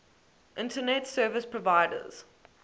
internet service providers